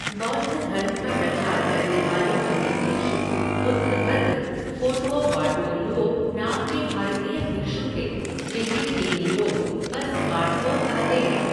बौद्ध धर्म का प्रचार करने वाले पहले भिक्षु बुद्धभद्र फ़ोटुओबाटुओलुओ नाम के भारतीय भिक्षु थे जिन्हें चीनी लोग बस बाटुओ कहते हैं।